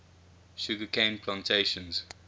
sugar cane plantations